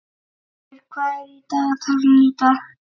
Stirnir, hvað er í dagatalinu í dag?